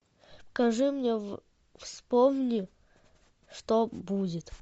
покажи мне вспомни что будет